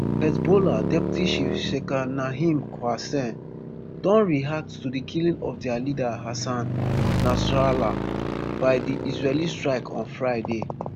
hezbollah deputy chief sheikh naim qassem don react to di killing of dia leader hassan nasrallah by di israeli strike on friday